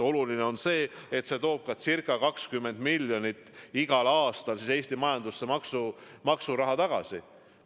Oluline on see, et see toob ca 20 miljonit igal aastal Eesti majandusse maksuraha tagasi.